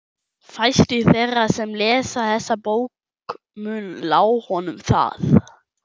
Fæstir þeirra sem lesa þessa bók munu lá honum það.